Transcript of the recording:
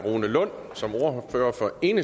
en